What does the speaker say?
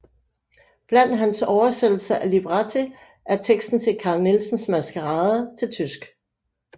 Blandt hans oversættelser af libretti er teksten til Carl Nielsens Maskarade til tysk